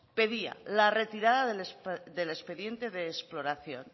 pedía la retirada del expediente de exploración